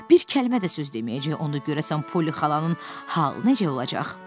Bir kəlmə də söz deməyəcək, onda görəsən Poli xalanın halı necə olacaq?